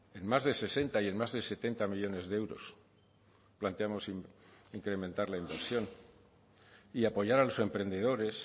en más de sesenta y en más de setenta millónes de euros planteamos incrementar la inversión y apoyar a los emprendedores